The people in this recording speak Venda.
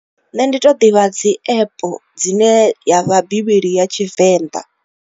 Nṋe ndi to ḓivha dzi app dzine ya vha bivhili ya Tshivenḓa.